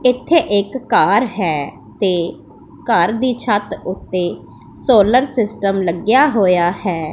ਇਥੇ ਇਕ ਘਰ ਹੈ ਤੇ ਘਰ ਦੀ ਛੱਤ ਉੱਤੇ ਸੋਲਰ ਸਿਸਟਮ ਲੱਗਿਆ ਹੋਇਆ ਹੈ।